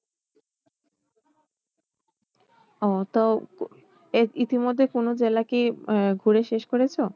ও তো এই ইতি মধ্যে কোনো জেলা কি আহ ঘুরে শেষ করেছো?